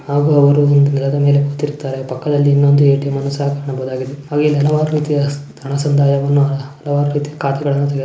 ಹಾಗು ಅವರು ಒಂದು ನೆಲದ ಮೇಲೆ ಕೂತಿರುತ್ತಾರೆ ಪಕ್ಕದಲ್ಲಿ ಇನ್ನೊಂದು ಎ.ಟಿ.ಎಮ್ ನ್ನು ಸಹ ಕಾಣಬಹುದಾಗಿದೆ ಹಾಗೆ ಇಲ್ಲಿ ಹಲವಾರು ರೀತಿಯ ಹಣ ಸಂದಾಯವನ್ನು ಹಲವಾರು ರೀತಿಯ ಖಾತೆಗಳನ್ನು ತೆಗೆಯ --